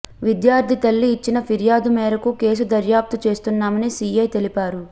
విద్యార్థి తల్లి ఇచ్చిన ఫిర్యాదు మేరకు కేసు దర్యాప్తు చేస్తున్నామని సీఐ తెలిపారు